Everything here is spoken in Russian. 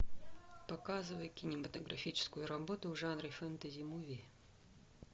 показывай кинематографическую работу в жанре фэнтези муви